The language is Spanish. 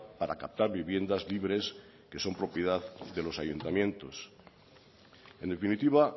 para captar viviendas libres que son propiedad de los ayuntamientos en definitiva